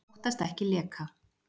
Óttast ekki leka